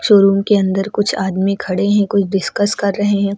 Showroom के अंदर कुछ आदमी खड़े हैं कुछ डिस्कस कर रहे हैं।